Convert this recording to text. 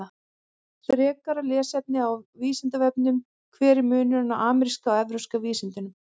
Frekara lesefni á Vísindavefnum: Hver er munurinn á ameríska og evrópska vísundinum?